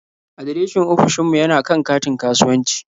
Adireshin ofishin mu yana kan katin kasuwanci.